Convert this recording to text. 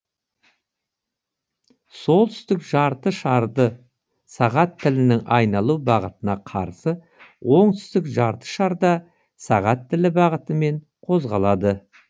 солтүстік жарты шарды сағат тілінің айналу бағытына қарсы оңтүстік жарты шарда сағат тілі бағытымен қозғалады